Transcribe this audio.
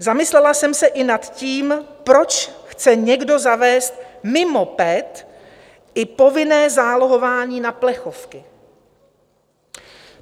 Zamyslela jsem se i nad tím, proč chce někdo zavést mimo PET i povinné zálohování na plechovky.